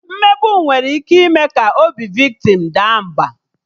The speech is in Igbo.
Mmegbu nwere ike ime ka obi viktim daa mba